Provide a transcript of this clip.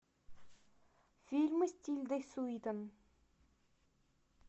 фильмы с тильдой суинтон